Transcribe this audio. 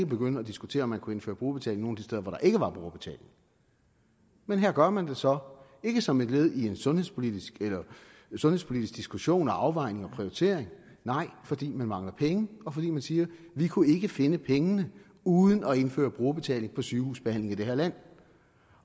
begynde at diskutere om man kunne indføre brugerbetaling de steder hvor der ikke var brugerbetaling men her gør man det så ikke som et led i en sundhedspolitisk sundhedspolitisk diskussion og afvejning og prioritering nej fordi man mangler penge og fordi man siger vi kunne ikke finde pengene uden at indføre brugerbetaling på sygehusbehandlingen i det her land